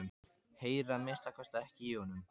Heyri að minnsta kosti ekki í honum.